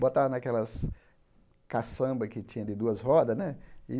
Botava naquelas caçamba que tinha de duas rodas, né? E